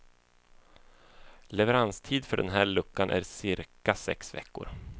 Leveranstid för den här luckan är cirka sex veckor.